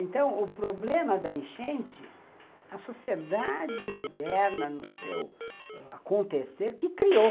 Então, o problema da enchente, a sociedade moderna, no seu acontecer, que criou.